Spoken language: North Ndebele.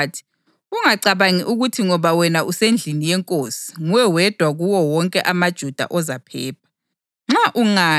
waphendula wathi: “Ungacabangi ukuthi ngoba wena usendlini yenkosi nguwe wedwa kuwo wonke amaJuda ozaphepha.